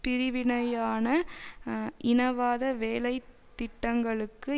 பிரிவினையான இனவாத வேலை திட்டங்களுக்கு